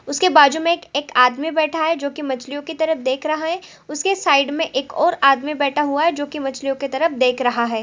उसके बाजु में एक एक आदमी बैठा है जो कि मछलियों की तरफ देख रहा है उसके साइड में एक और आदमी बैठा हुआ है जो कि मछलियों की तरफ देख रहा हैं।